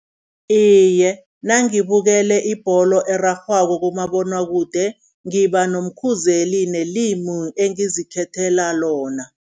Iye, nangibukele ibholo erarhwako kumabonwakude, ngiba nomkhuzeli nelimu engizikhethela lona.